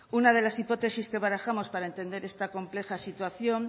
una de las hipótesis que barajamos para entender esta compleja situación